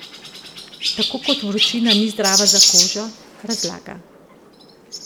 Tako kot vročina ni zdrava za kožo, razlaga.